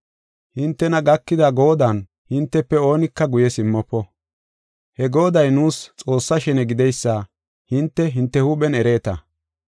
Hintena gakida goodan hintefe oonika guye simmofo. He gooday nuus Xoossa shene gideysa hinte, hinte huuphen ereeta.